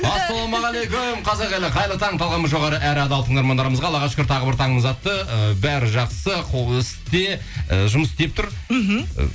ассалаумағалейкум қазақ елі қайырлы таң талғамы жоғары әрі адал тыңдармандарымызға аллаға шүкір тағы бір таңымыз атты ы бәрі жақсы қол істе і жұмыс істеп тұр мхм